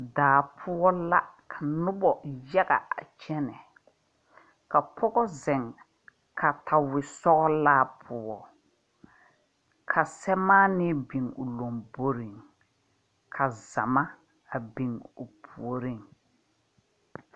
Daa pou la ka nuba yaga a kyene ka pɔgo zeng katawei sɔgla puo ka samaani bing ɔ lɔmboring ka zama a bing ɔ poɔring.